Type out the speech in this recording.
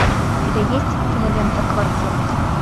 у тебя есть кинолента квартет